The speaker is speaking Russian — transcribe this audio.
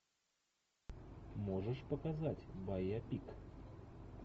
можешь показать байопик